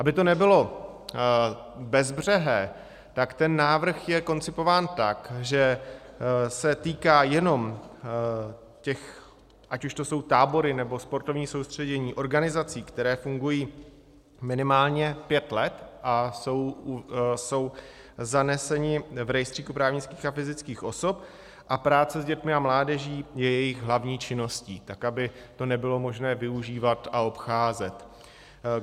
Aby to nebylo bezbřehé, tak ten návrh je koncipován tak, že se týká jenom těch - ať už to jsou tábory, nebo sportovní soustředění - organizací, které fungují minimálně pět let a jsou zaneseny v rejstříku právnických a fyzických osob, a práce s dětmi a mládeží je jejich hlavní činností, tak aby to nebylo možné využívat a obcházet.